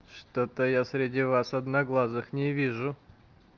что-то я среди вас одноглазых не вижу